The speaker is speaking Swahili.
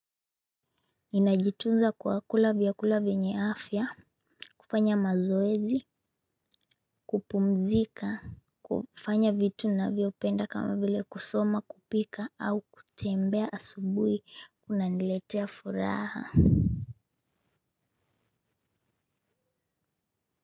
Ninajitunza kwa kula vyakula vyenye afya, kufanya mazoezi, kupumzika, kufanya vitu ninavyopenda kama vile kusoma, kupika, au kutembea asubuhi kunaniletea furaha.